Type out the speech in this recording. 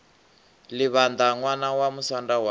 livhaṋda ṋwana wa musanda wa